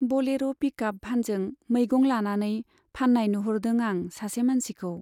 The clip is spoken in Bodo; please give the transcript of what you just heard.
बलेर' पिकआप भानजों मैगं लानानै फान्नाय नुहुरदों आं सासे मानसिखौ।